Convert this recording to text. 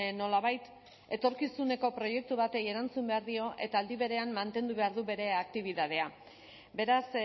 nolabait etorkizuneko proiektu bati erantzun behar dio eta aldi berean mantendu behar du bere aktibitatea beraz